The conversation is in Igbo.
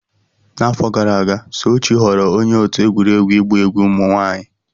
N'afọ gara aga, Sochi ghọrọ onye otu egwuregwu ịgba egwu ụmụ nwanyị.